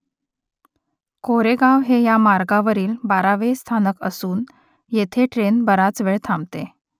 कोरेगाव हे या मार्गावरील बारावे स्थानक असून येथे ट्रेन बराच वेळ थांबते